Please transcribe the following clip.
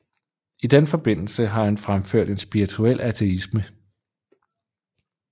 I den forbindelse har han fremført en spirituel ateisme